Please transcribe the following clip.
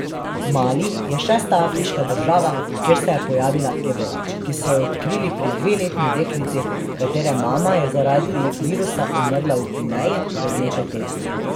Mali je šesta afriška država, kjer se je pojavila ebola, ki so jo odkrili pri dveletni deklici, katere mama je zaradi virusa umrla v Gvineji pred nekaj tedni.